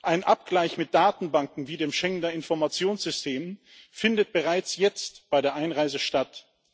Ein Abgleich mit Datenbanken wie dem Schengener Informationssystem findet bereits jetzt bei der Einreise statt.